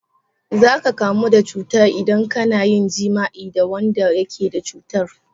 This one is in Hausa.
Za ka kamu da cuta idan ka na yin jima'i da wanda yake da cutar.